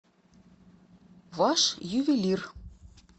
ваш ювелир